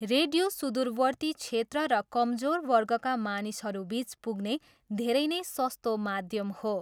Radio सुदूरवर्ती क्षेत्र र कमजोर वर्गका मानिसहरूबिच पुग्ने धेरै नै सस्तो माध्यम हो।